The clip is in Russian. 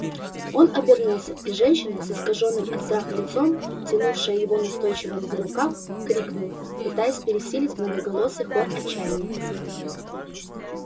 он обернулся и женщина с искажённым от страха лицом тянувшая его настойчиво за рукав крикнула пытаясь пересилить многоголосый хор отчаяния